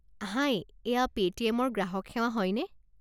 হাই এয়া পে'টিএম ৰ গ্ৰাহক সেৱা হয়নে?